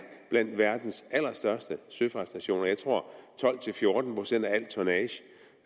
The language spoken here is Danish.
blandt verdens allerstørste søfartsnationer jeg tror at tolv til fjorten procent